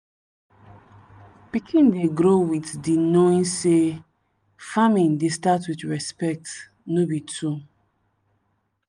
pikin dey grow with di knowing say farming dey start with respect no be tool.